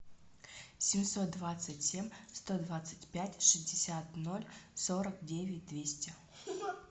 семьсот двадцать семь сто двадцать пять шестьдесят ноль сорок девять двести